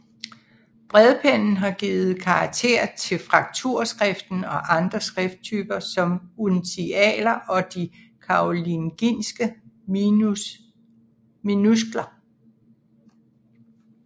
Bredpennen har givet karakter til frakturskriften og andre skrifttyper som uncialer og de karolingiske minuskler